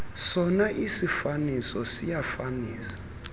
sona isiifaniso siyafanisa